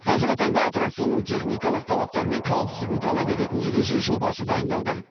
қазіргі таңда аттракционның техникалық талаптары мен қауіпсіздігін талап ететін ереже жобасы дайындалды